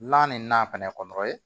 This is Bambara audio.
Lana nin na fɛnɛ